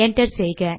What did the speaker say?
enter செய்க